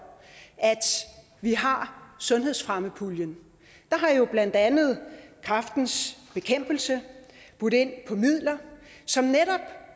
at vi har sundhedsfremmepuljen der har jo blandt andet kræftens bekæmpelse budt ind på midler som netop